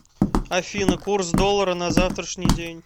афина курс доллара на завтрашний день